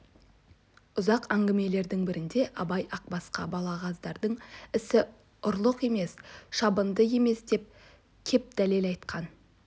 ұзақ әңгіменің бірінде абай ақбасқа балағаздардың ісі ұрлық емес шабынды емес деп кеп дәлел айтқан